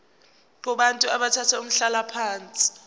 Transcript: kubantu abathathe umhlalaphansi